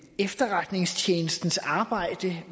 efterretningstjenestens arbejde